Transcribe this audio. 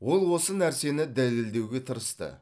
ол осы нәрсені дәлелдеуге тырысты